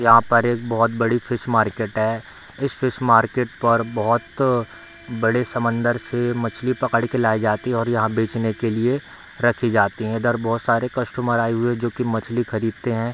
यहाँ पर एक बहुत बड़ी फिश मार्केट है | इस मार्केट पर बहुत अ बड़े समुन्द्र से मछली पकड़ के लायी जाती है और यहाँ बेचने के लिए रखी जाती है | इधर बहुत सारे कस्टमर आये हुए हैं जो की मछली खरीदते हैं ।